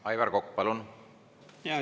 Aivar Kokk, palun!